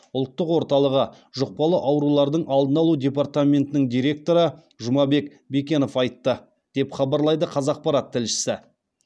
ұлттық орталығы жұқпалы аурулардың алдын алу департаментінің директоры жұмабек бекенов айтты деп хабарлайды қазақпарат тілшісі